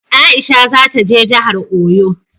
Aisha za ta je jahar Oyo